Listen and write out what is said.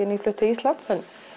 nýflutt til Íslands